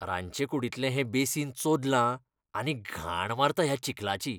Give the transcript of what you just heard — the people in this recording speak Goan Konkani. रांदचे कुडींतलें हें बेसीन चोदलां आनी घाण मारता ह्या चिखलाची.